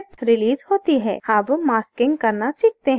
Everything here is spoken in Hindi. अब masking करना सीखते हैं